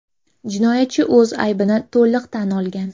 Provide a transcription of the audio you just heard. Jinoyatchi o‘z aybini to‘liq tan olgan.